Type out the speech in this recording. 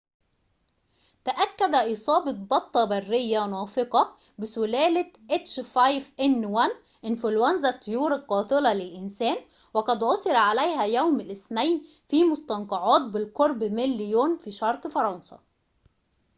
تأكد إصابة بطة برية نافقة بسلالة إنفلونزا الطيور القاتلة للإنسان، h5n1، وقد عثر عليها يوم الاثنين، في مستنقعات بالقرب من ليون في شرق فرنسا